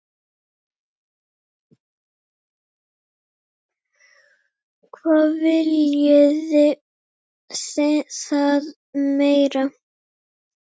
Hvað viljið þið meira?